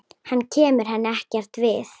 Hann kemur henni ekkert við.